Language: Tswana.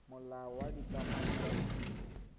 molao wa dikamano tsa ditiro